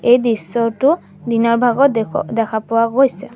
এই দৃশ্যটো দিনৰ ভাগত দেখা পোৱা গৈছে।